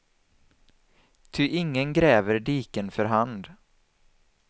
Ty ingen gräver diken för hand.